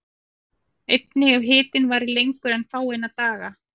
Einnig ef hitinn varir lengur en fáeina daga.